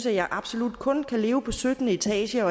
at jeg absolut kun kunne leve på syttende etage